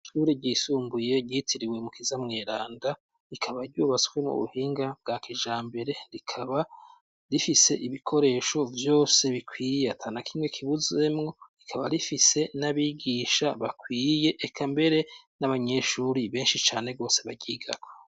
Ishure ryisumbuye ryitiriwe Mukiza Mweranda rikaba ryubatswe mu buhinga bwa kijambere, rikaba rifise ibikoresho vyose bikwiye ata na kimwe kibuzemwo, rikaba rifise n'abigisha bakwiye eka mbere n'abanyeshure benshi cane bose baryigako.